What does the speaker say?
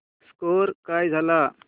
score काय झाला